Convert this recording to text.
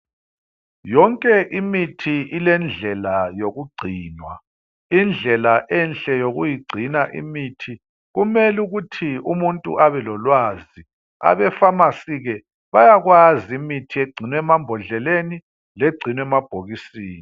Yonke imithi ilendlela yokugcinwa. Indlela enhle yokuyigcina imithi kumele ukuthi umuntu abe lolwazi. Abepharmacy ke bayakwazi imithi egcinwa emambodleleni legcinwa emabhokisini.